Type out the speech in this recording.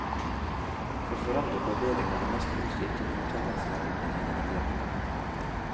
For foreldrene på avdelingen er det mest positivt at mottagelsen er blitt en egen avdeling.